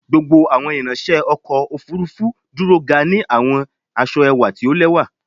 Gbogbo awọn iranṣẹ ọkọ ofurufu duro ga ni awọn aṣọ ẹwa ti o lẹwa